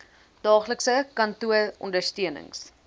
daaglikse kantoor ondersteunings